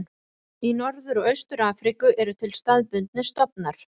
Í Norður og Austur-Afríku eru til staðbundnir stofnar.